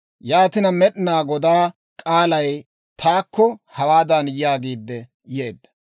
Yaatina Med'inaa Godaa k'aalay taakko hawaadan yaagiidde yeedda;